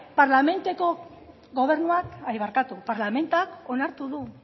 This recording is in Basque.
parlamentak onartu du